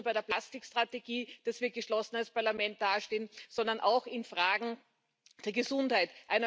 Es gilt nicht nur bei der Plastikstrategie, dass wir geschlossen als Parlament dastehen, sondern auch in Fragen der Gesundheit.